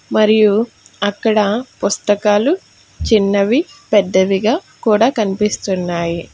మరియు అక్కడ పుస్తకాలు చిన్నవి పెద్దవిగా కూడా కనిపిస్తున్నాయి.